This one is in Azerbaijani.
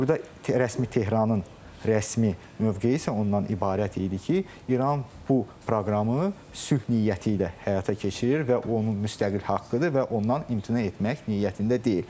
Burda rəsmi Tehranın rəsmi mövqeyi isə ondan ibarət idi ki, İran bu proqramı sülh niyyəti ilə həyata keçirir və o onun müstəqil haqqıdır və ondan imtina etmək niyyətində deyil.